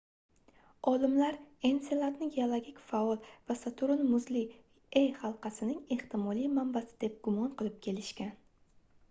olimlar enseladni geologik faol va saturn muzli e halqasining ehtimoliy manbasi deb gumon qilib kelishgan